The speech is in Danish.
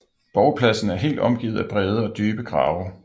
Borgpladsen er helt omgivet af brede og dybe grave